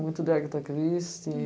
Muito de Agatha Christie.